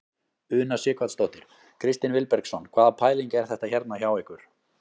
Una Sighvatsdóttir: Kristinn Vilbergsson hvaða pæling er þetta hérna hjá ykkur?